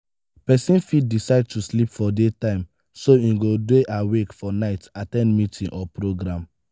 persin fit decide to sleep for day time so im go de awake for night at ten d meeting or programme